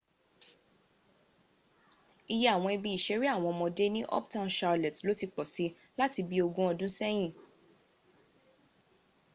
ìyé àwọn ibi ìseré àwọn ọmọdé ní uptown charlotte lóti pọ̀ si láti bí i ogún ọdún sẹ́yìn